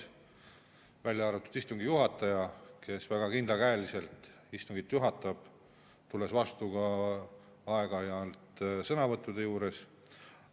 Välja arvatud muidugi istungi juhataja, kes väga kindlakäeliselt istungit juhatab, tulles aeg-ajalt vastu ka sõnavõttude andmisel.